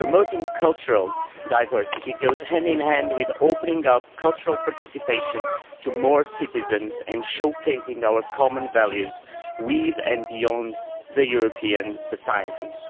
Promoting cultural diversity goes hand in hand with opening up cultural participation to more citizens and showcasing our common values with and beyond Europe's societies.